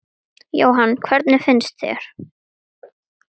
Jóhanna: Hvernig finnst þér?